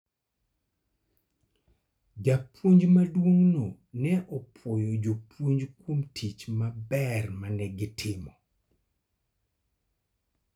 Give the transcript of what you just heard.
Japuonj maduong'no ne opwoyo jopuonj kuom tich maber ma ne gitimo.